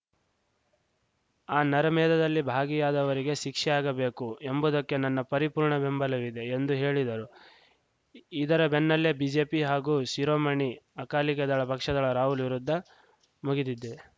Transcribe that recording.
ಆ ನರಮೇಧದಲ್ಲಿ ಭಾಗಿಯಾದವರಿಗೆ ಶಿಕ್ಷೆಯಾಗಬೇಕು ಎಂಬುದಕ್ಕೆ ನನ್ನ ಪರಿಪೂರ್ಣ ಬೆಂಬಲವಿದೆ ಎಂದು ಹೇಳಿದರು ಇದರ ಬೆನ್ನಲ್ಲೇ ಬಿಜೆಪಿ ಹಾಗೂ ಶಿರೋಮಣಿ ಅಕಾಲಿಕ ದಳ ಪಕ್ಷಗಳ ರಾಹುಲ್‌ ವಿರುದ್ಧ ಮುಗಿದ್ದಿದ್ದೇ